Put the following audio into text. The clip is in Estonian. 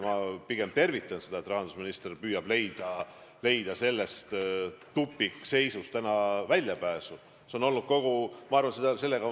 Ma pigem tervitan seda, et rahandusminister püüab tupikseisust praegu väljapääsu leida.